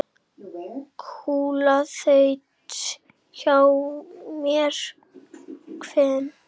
Kúla þaut hjá með hvin.